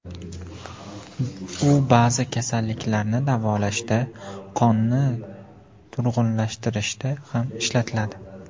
U ba’zi kasalliklarni davolashda, qonni turg‘unlashtirishda ham ishlatiladi.